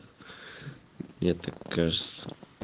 я так кажется